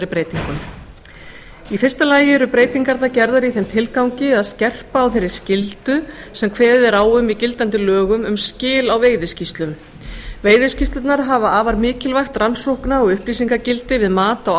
breytingum í fyrsta lagi eru breytingarnar gerðar í þeim tilgangi að skerpa á þeirri skyldu sem kveðið er á um í gildandi lögum um skil á veiðiskýrslum veiðiskýrslurnar hafa afar mikilvægt rannsóknar og upplýsingagildi við mat á